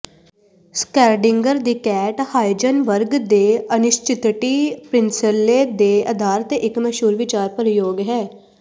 Schrödinger ਦੀ cat Heisenberg ਦੇ ਅਨਿਸ਼ਚਿਤਟੀ ਪ੍ਰਿੰਸਲੇ ਦੇ ਅਧਾਰ ਤੇ ਇੱਕ ਮਸ਼ਹੂਰ ਵਿਚਾਰ ਪ੍ਰਯੋਗ ਹੈ